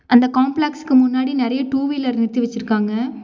அந்த காம்ப்ளக்ஸ்க்கு முன்னாடி நறைய டூ வீலர் நிறுத்தி வெச்சிருக்காங்க.